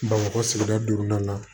Bamakɔ sigida duurunan na